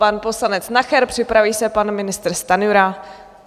Pan poslanec Nacher, připraví se pan ministr Stanjura.